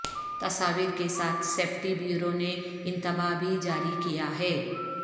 تصاویر کے ساتھ سیفٹی بیورو نے انتباہ بھی جاری کیا ہے